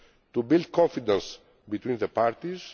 to build confidence between the parties